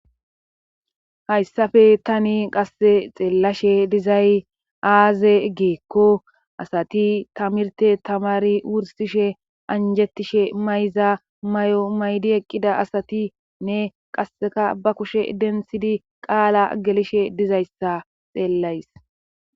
Hayssafe tani qasse xeellashe dizay aaze geekko asati tamirte tamari wursishe anjettishe mayza may7o maydi eqqida asatinne qasseka ba kushe dentsidi qaala gelishe dizayssa xeellays.